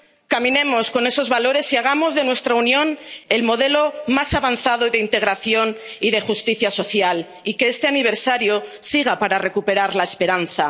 Caminemos con esos valores y hagamos de nuestra Unión el modelo más avanzado de integración y de justicia social, y que este aniversario sirva para recuperar la esperanza.